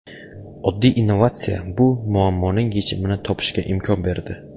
Oddiy innovatsiya bu muammoning yechimini topishga imkon berdi.